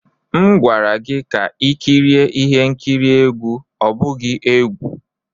M gwara gị ka i kirie ihe nkiri egwu, ọ bụghị egwu!